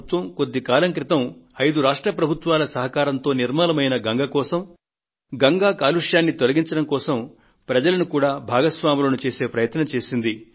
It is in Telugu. భారత ప్రభుత్వం కొద్ది కాలం క్రితం ఐదు రాష్ట్ర ప్రభుత్వాల సహకారంతో నిర్మలమైన గంగ కోసం గంగానది కాలుష్యాన్ని తొలగించడం కోసం ప్రజలను కూడా భాగస్వాములను చేసే ప్రయత్నం చేసింది